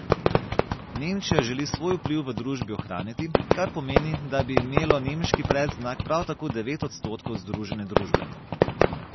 Nemčija želi svoj vpliv v družbi ohraniti, kar pomeni, da bi imelo nemški predznak prav tako devet odstotkov združene družbe.